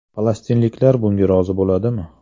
Falastinliklar bunga rozi bo‘ladimi?